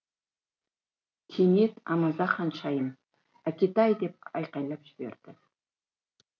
кенет амаза ханшайым әкетай деп айқайлап жіберді